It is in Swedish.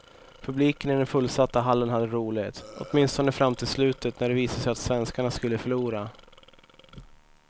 Publiken i den fullsatta hallen hade roligt, åtminstone fram till slutet när det visade sig att svenskarna skulle förlora.